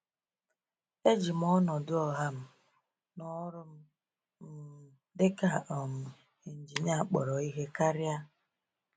E ji m ọnọdụ ọha m na ọrụ m um dị ka um injinia kpọrọ ihe karịa.